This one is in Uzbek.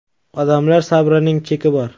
Odamlar sabrining cheki bor.